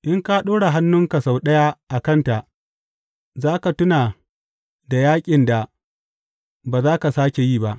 In ka ɗora hannunka sau ɗaya a kanta za ka tuna da yaƙin da ba za ka sāke yi ba!